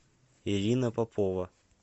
ирина попова